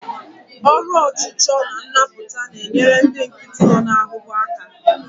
Ọrụ ọchụchọ na nnapụta na-enyere ndị nkịtị nọ n'ahụhụ aka.